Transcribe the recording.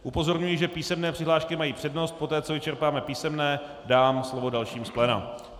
Upozorňuji, že písemné přihlášky mají přednost, poté co vyčerpáme písemné, dám slovo dalším z pléna.